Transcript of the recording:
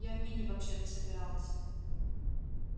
я в мини вообще-то собиралась